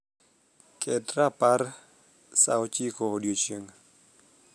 ket rapar saa ochiko odiechieng